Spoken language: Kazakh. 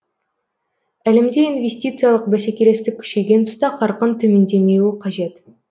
әлемде инвестициялық бәсекелестік күшейген тұста қарқын төмендемеуі қажет